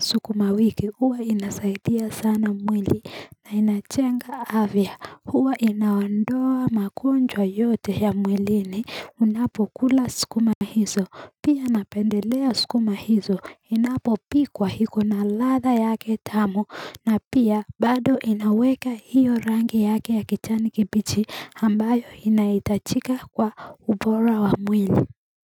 sukuma wiki huwa inasaidia sana mwili na inachenga avya huwa inaondoa makonjwa yote ya mwilini Unapo kula skuma hizo, pia napendelea skuma hizo, inapo pikwa hiko na latha yake tamu na pia bado inaweka hiyo rangi yake ya kichani kibichi hambayo inaitachika kwa ubora wa mwili.